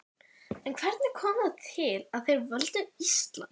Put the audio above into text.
En hvernig kom það til að þeir völdu Ísland?